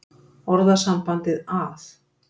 Orðasambandið að